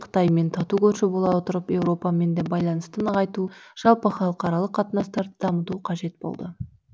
қытаймен тату көрші бола отырып еуропамен де байланысты нығайту жалпы халықаралық қатынастарды дамыту қажет болды